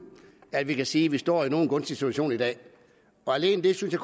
at vi kan sige at vi står i nogen gunstig situation i dag alene det synes